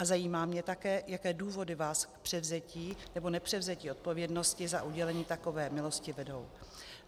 A zajímá mě také, jaké důvody vás k převzetí nebo nepřevzetí odpovědnosti za udělení takové milosti vedou.